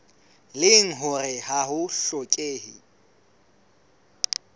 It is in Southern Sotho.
leng hore ha ho hlokehe